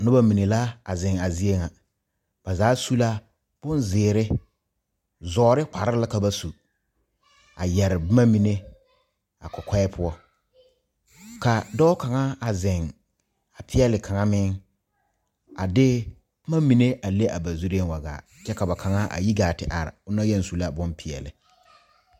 Noba mine la zeŋ a zie ŋa ba zaa su la bonzeere zɔɔre kpare la ka ba su a yɛre boma mine ba kɔkɔɛ poɔ kaa dɔɔ kaŋa a zeŋ a peɛle kaŋa mine a de boma mine a le a ba zure wa gaa kyɛ ka kaŋa mine yi gaa te are on a yɛŋ su la bonpeɛle